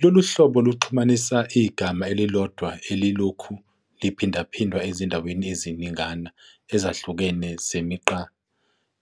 Lolu hlobo luxhumanisa igama elilodwa elilokhu liphindaphindwa ezindaweni eziningana ezahlukene zemigqa